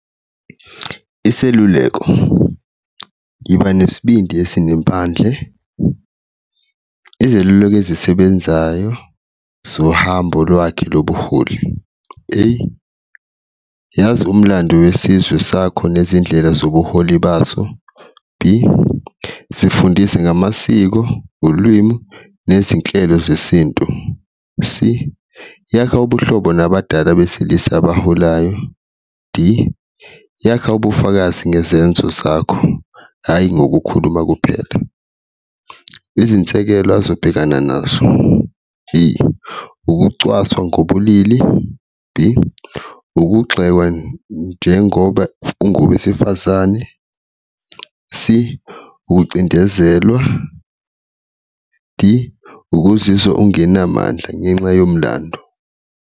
Iseluleko, yiba nesibindi esinempandle, izeluleko ezisebenzayo zohambo lwakhe lobuholi A, yazi umlando wesizwe sakho nezindlela zobuholi bazo, B, zifundise ngamasiko, ulwimu, nezinhlelo zesintu, C, yakha ubuhlobo nabadala besilisa abaholayo, D, yakha ubufakazi ngezenzo zakho hhayi ngokukhuluma kuphela. Izinsekelo azobhekana nazo, A, ukucwaswa ngobulili, B, ukugxekwa njengoba kungowesifazane, C, ukucindezelwa, D, ukuziswa ungenamandla ngenxa yomlando.